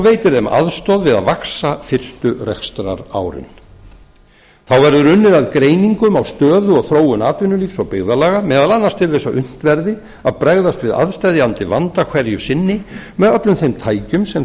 veitir þeim aðstoð við að vaxa fyrstu rekstrarárin þá verður unnið að greiningum á stöðu og þróun atvinnulífs og byggðarlaga meðal annars til þess að unnt verði að bregðast við aðsteðjandi vanda hverju sinni með öllum þeim tækjum sem